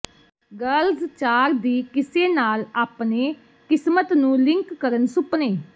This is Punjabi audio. ਗਰਲਜ਼ ਚਾਰ ਦੀ ਕਿਸੇ ਨਾਲ ਆਪਣੇ ਕਿਸਮਤ ਨੂੰ ਲਿੰਕ ਕਰਨ ਸੁਪਨੇ